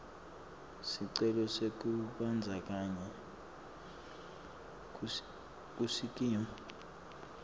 sicelo sekubandzakanyeka kusikimu